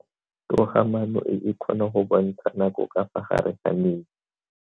Toga-maano e, e kgona go bontsha nako ka fa gare ga metsi.